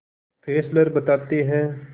Fessler बताते हैं